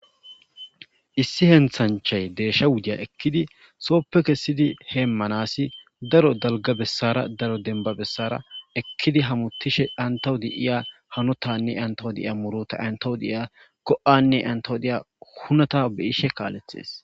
issi henthanchay deeshsha wudiya ekkidi sooppe kessidi heemmanasi daro dalga bessara daro denba bessara ekkidi hamutishe antawu de iya hanotanne antawo deiya muro ta antawu deiya go7anne antawo deya hunata beyishe kaalethees